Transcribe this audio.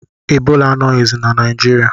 Ebola anọghizi na Naijiriia